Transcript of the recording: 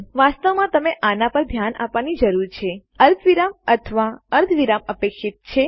વાસ્તવમાં તમને આના પર ધ્યાન આપવાની જરૂર છે અલ્પવિરામ અથવા અર્ધવિરામ અપેક્ષિત છે